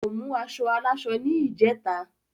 kò mú aṣọ aláṣọ ni ìjeta